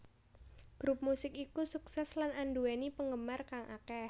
Grup musik iku sukses lan anduweni penggemar kang akeh